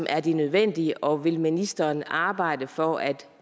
er det nødvendige og vil ministeren arbejde for at